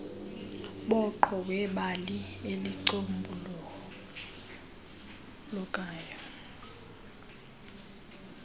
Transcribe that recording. dooqo webali elicombulukayo